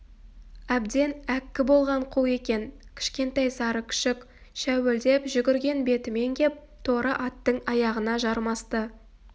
әбден әккі болған қу екен кішкентай сары күшік шәуілдеп жүгірген бетімен кеп торы аттың аяғына жармасты